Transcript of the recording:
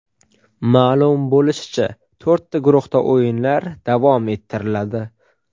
Ma’lum bo‘lishicha, to‘rtta guruhda o‘yinlar davom ettiriladi.